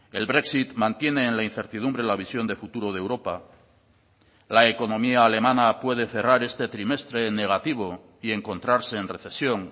el brexit mantiene en la incertidumbre la visión de futuro de europa la economía alemana puede cerrar este trimestre en negativo y encontrarse en recesión